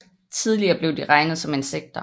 Tidligere blev de regnet som insekter